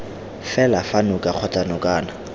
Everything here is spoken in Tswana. fela fa noka kgotsa nokana